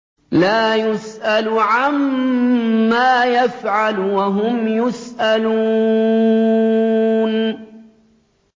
لَا يُسْأَلُ عَمَّا يَفْعَلُ وَهُمْ يُسْأَلُونَ